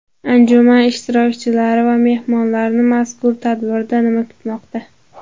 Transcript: Anjuman ishtirokchilari va mehmonlarni mazkur tadbirda nima kutmoqda?